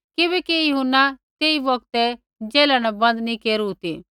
किबैकि यूहन्ना तेई बोक्ते जेला न बंद नैंई केरू ती